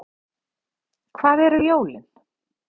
Hvað eru jólin